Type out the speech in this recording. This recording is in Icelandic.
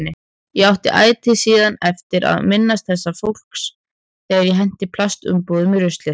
Ég átti ætíð síðan eftir að minnast þessa fólks þegar ég henti plastumbúðum í ruslið.